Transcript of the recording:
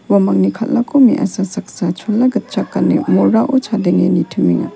uamangni kal·ako me·asa saksa chola gitchak gane morao chadenge nitimenga.